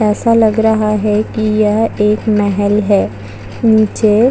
ऐसा लग रहा है कि यह एक मेहैल है नीचे --